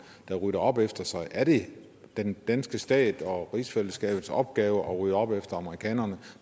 der rydder op efter sig er det den danske stat og rigsfællesskabets opgave at rydde op efter amerikanerne